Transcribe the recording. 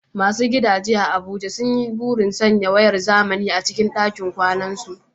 Masu gidajen Abuja sun yi burin sanya wayar zamani a cikin dakin kwanansu.